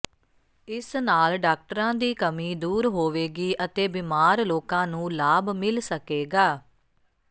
ਇਸ ਨਾਲ ਡਾਕਟਰਾਂ ਦੀ ਕਮੀ ਦੂਰ ਹੋਵੇਗੀ ਅਤੇ ਬਿਮਾਰ ਲੋਕਾਂ ਨੂੰ ਲਾਭ ਮਿਲ ਸਕੇਗਾ